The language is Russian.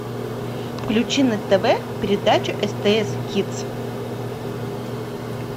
включи на тв передачу стс кидс